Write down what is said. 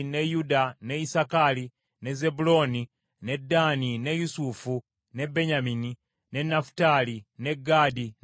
ne Ddaani, ne Yusufu, ne Benyamini, ne Nafutaali, ne Gaadi ne Aseri.